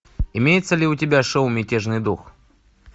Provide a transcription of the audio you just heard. имеется ли у тебя шоу мятежный дух